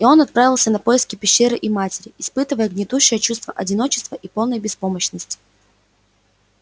и он отправился на поиски пещеры и матери испытывая гнетущее чувство одиночества и полной беспомощности